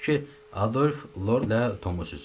Gördü ki, Adolf Lorla Tomu süzür.